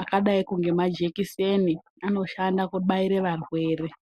Akadaiko ngemajekiseni, anoshanda kubaire varwere.